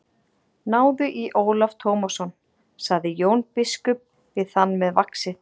Náðu í Ólaf Tómasson, sagði Jón biskup við þann með vaxið.